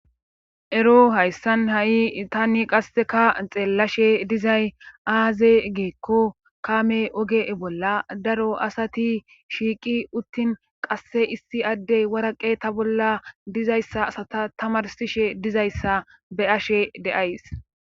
ero hayssan ha7i tanni qasseka xeellashe dizay aaze giikko kame oge bolla daro asati shiiqi uttin qasse issi addey waraqeta bolla dizayssa asata tamarsishe dizayssa be'ashe de'ays